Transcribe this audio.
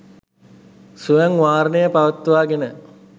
ස්වයං වාරණය පවත්වාගෙන